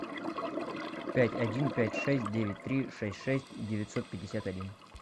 пять один пять шесть девять три шесть шесть девятьсот пятьдесят один